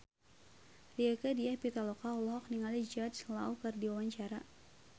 Rieke Diah Pitaloka olohok ningali Jude Law keur diwawancara